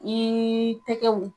Niiii tɛgɛw.